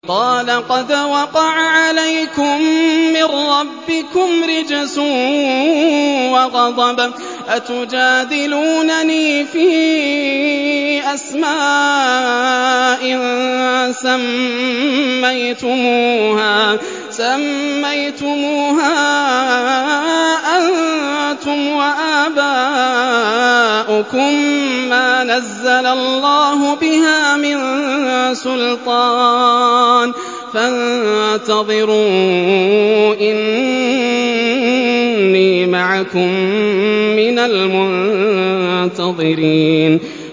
قَالَ قَدْ وَقَعَ عَلَيْكُم مِّن رَّبِّكُمْ رِجْسٌ وَغَضَبٌ ۖ أَتُجَادِلُونَنِي فِي أَسْمَاءٍ سَمَّيْتُمُوهَا أَنتُمْ وَآبَاؤُكُم مَّا نَزَّلَ اللَّهُ بِهَا مِن سُلْطَانٍ ۚ فَانتَظِرُوا إِنِّي مَعَكُم مِّنَ الْمُنتَظِرِينَ